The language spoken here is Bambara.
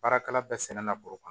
Baarakɛla bɛɛ sɛnɛ na bɔrɔ kan